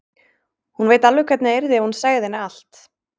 Hún veit alveg hvernig það yrði ef hún segði henni allt.